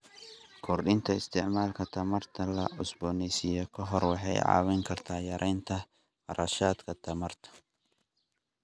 Kordhinta isticmaalka tamarta la cusboonaysiin karo waxay caawin kartaa yareynta kharashka tamarta.